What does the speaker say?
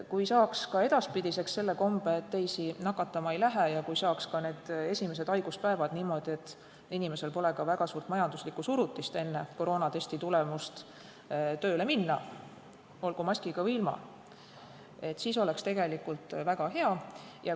Kui saaks, et ka edaspidi oleks see komme, et teisi nakatama ei lähe, ja kui saaks niimoodi, et ka esimestel haiguspäevadel pole inimesel väga suurt majanduslikku survet enne koroonatesti tulemust tööle minna, olgu maskiga või ilma, siis oleks tegelikult väga hea.